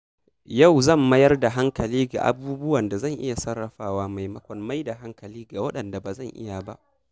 Yau zan mayar da hankali ga abubuwan da zan iya sarrafawa maimakon mai da hankali ga waɗanda ba zan iya ba.